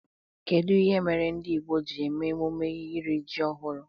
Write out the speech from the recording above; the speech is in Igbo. Kedụ ihe mere ndị Igbo jiri eme emume iri ji ọhụrụ?